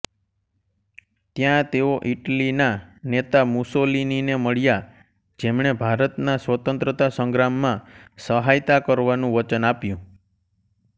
ત્યા તેઓ ઇટલીના નેતા મુસોલિનીને મળ્યા જેમણે ભારતના સ્વતંત્રતા સંગ્રામમાં સહાયતા કરવાનુંં વચન આપ્યું